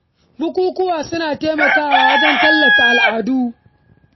Bukukuwa suna taimakawa wajen tallata al’adu da kuma bunƙasa yawon buɗe ido.